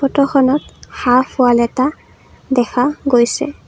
ফটোখনত half wall এটা দেখা গৈছে।